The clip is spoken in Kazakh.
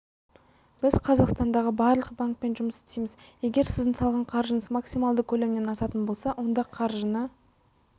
біз қазақстандағы барлық банкпен жұмыс істейміз егер сіздің салған қаржыңыз максималды көлемнен асатын болса онда қаржыны